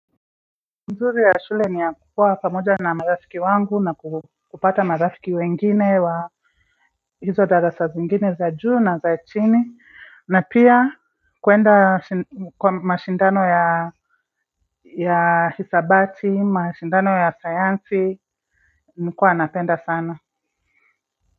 Uzuri ya shule ni ya kuwa pamoja na marafiki wangu na kupata marafiki wengine wa hizo darasa zingine za juu na za chini na pia kuenda kwa mashindano ya ya hisabati, mashindano ya sayansi, nilikuwa napenda sana.